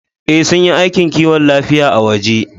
Ee, sun yi aikin kiwon lafiya a waje